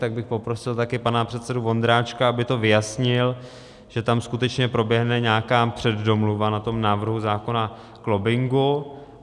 Tak bych poprosil také pana předsedu Vondráčka, aby to vyjasnil, že tam skutečně proběhne nějaká předdomluva na tom návrhu zákona k lobbingu.